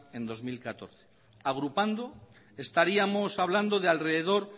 en dos mil catorce agrupando estaríamos hablando de alrededor